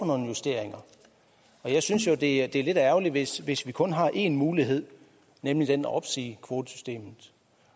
nogle justeringer men jeg synes jo det er lidt ærgerligt hvis hvis vi kun har en mulighed nemlig den at opsige kvotesystemet